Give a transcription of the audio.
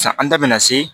San an da bɛna se